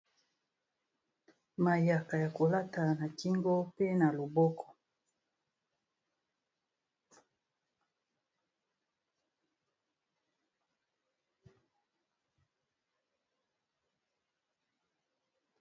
Mayaka ya kolata na kingo mpe na loboko.